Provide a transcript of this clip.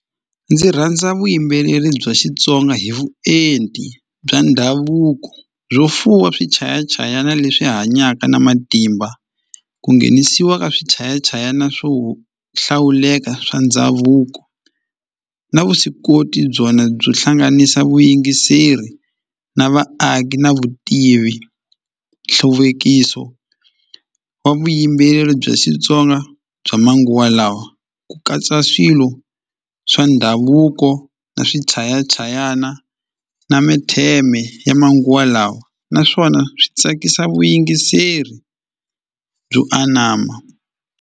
Ndzi rhandza vuyimbeleri bya Xitsonga hi vuenti bya ndhavuko byo fuwa swichayachayana leswi hanyaka na matimba ku nghenisiwa ka swichayachayana swo hlawuleka swa ndhavuko na vuswikoti byona byo hlanganisa vuyingiseri na vaaki na vutivi nhluvukiso wa vuyimbeleri bya Xitsonga bya manguva lawa ku katsa swilo swa ndhavuko na swichayachayana na ya manguva lawa naswona swi tsakisa vuyingiseri byo anama.